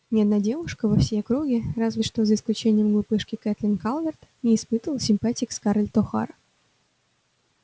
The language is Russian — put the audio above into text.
ни одна девушка во всей округе разве что за исключением глупышки кэтлин калверт не испытывала симпатии к скарлетт охара